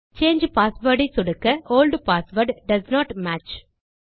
சாங்கே password ஐ சொடுக்க old password doesn't match